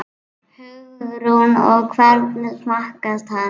Hugrún: Og hvernig smakkast hann?